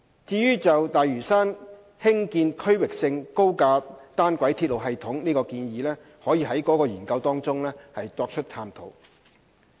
就於大嶼山興建區域性高架單軌鐵路系統的建議，可在該研究中作探討。